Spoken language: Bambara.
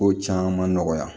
Ko caman nɔgɔya